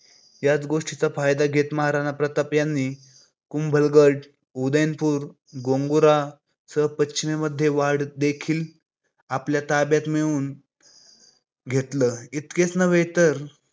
याच गोष्टीचा फायदा घेत महाराणा प्रताप यांनी कुंभलगड, उदयपूर, गोंगुरा सह पश्चिमे वाटदेखील आपल्या ताब्यात मिळवून घेतलं. इतकेच नव्हे तर आता